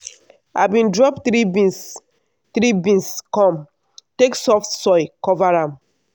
i bin drop three beans three beans come take soft soil cover am.